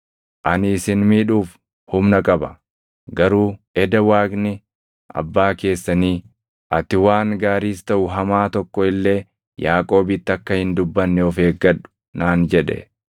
Ani isin miidhuuf humna qaba; garuu eda Waaqni abbaa keessanii, ‘Ati waan gaariis taʼu hamaa tokko illee Yaaqoobitti akka hin dubbanne of eeggadhu’ naan jedhe.